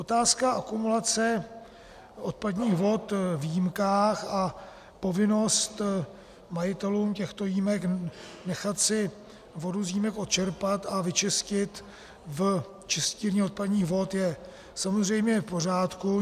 Otázka akumulace odpadních vod v jímkách a povinnost majitelů těchto jímek nechat si vodu z jímek odčerpat a vyčistit v čistírně odpadních vod je samozřejmě v pořádku.